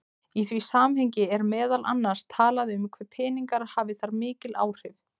Í því samhengi er meðal annars talað um hve peningar hafi þar mikil áhrif.